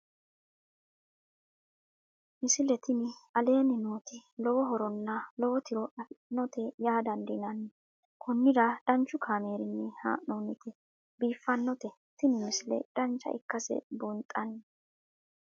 misile tini aleenni nooti lowo horonna lowo tiro afidhinote yaa dandiinanni konnira danchu kaameerinni haa'noonnite biiffannote tini misile dancha ikkase buunxanni